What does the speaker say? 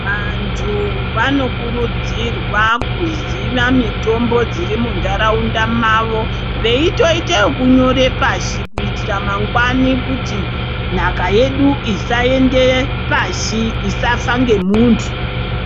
Vantu vanokurudzirwa kuziva mitombo dzirimundaraunda mavo veitoite ekunyora pashi kuitira kuti nhaka yedu isaende pashi isafa ngemuntu.